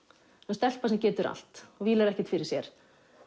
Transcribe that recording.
stelpa sem getur allt og vílar ekkert fyrir sér